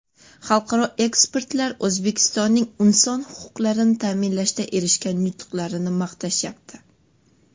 Xalqaro ekspertlar O‘zbekistonning inson huquqlarini ta’minlashda erishgan yutuqlarini maqtashyapti.